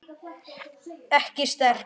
Ekki sterk.